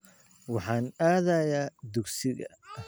Waxaan aadayaa dugsiga